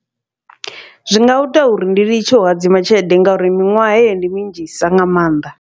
Zwi nga ita uri ndi litshe u hadzima tshelede, ngauri miṅwaha heyi ndi minzhisa nga mannḓa.